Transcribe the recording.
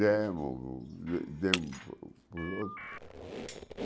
Demos demos para os outros.